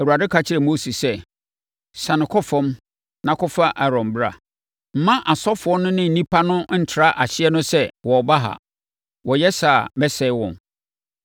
Awurade ka kyerɛɛ Mose sɛ, “Siane kɔ fam na kɔfa Aaron bra. Mma asɔfoɔ no ne nnipa no ntra ahyeɛ no sɛ wɔreba ha. Wɔyɛ saa a, mɛsɛe wɔn.”